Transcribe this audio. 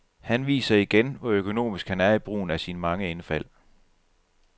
Han viser igen, hvor økonomisk han er i brugen af sine mange indfald.